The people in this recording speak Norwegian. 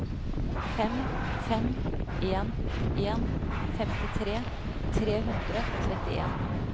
fem fem en en femtitre tre hundre og trettien